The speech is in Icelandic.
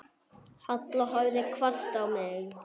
Halla horfði hvasst á mig.